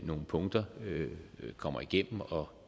nogle punkter kommer igennem og